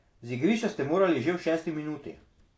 Z igrišča ste morali že v šesti minuti.